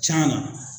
Can na